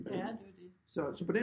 Ja det er jo det